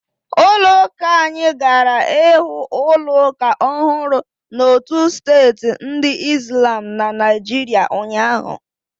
Ụlọ uka anyị gara ịwu ụlọ ụka ọhụrụ n'otu steeti ndi islam na Naịjirịa ụnyahụ.